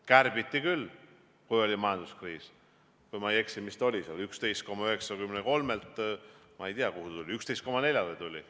Kärbiti, kui oli majanduskriis, kui ma ei eksi, 11,93%-lt, ma ei tea, 11,4%-le.